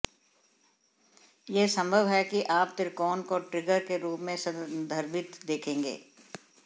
यह संभव है कि आप त्रिकोण को ट्रिगर के रूप में संदर्भित देखेंगे